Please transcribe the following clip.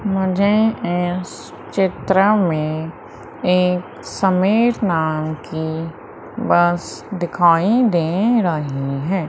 मुझे इस चित्र में एक समीर नाम की बस दिखाई दे रही है।